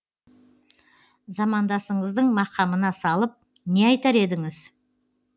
замандасыңыздың мақамына салып не айтар едіңіз